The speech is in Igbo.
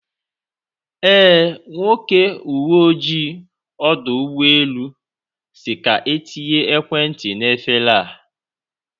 Eh, Nwoke uwe ojii ọdọ ụgbọ elu si ka etinye ekwentị n'efere a